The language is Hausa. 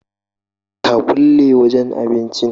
Ka kulle wajan abincin